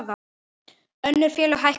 Önnur félög hækkuðu minna.